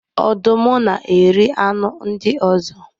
Ọdụm na-eri anụ ndị ọzọ